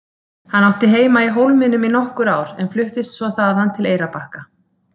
Hann átti heima í Hólminum í nokkur ár en fluttist svo þaðan til Eyrarbakka.